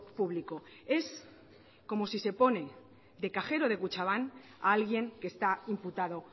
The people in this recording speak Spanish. público es como si se pone de cajero de kutxabank a alguien que está imputado